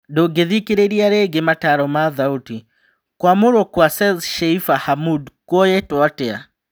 Ndũngĩthikĩrĩria rĩngĩ mataro ma-thauti, kũamũrwo kwa Seth Sheifa Hamud kũoyetwo atĩa?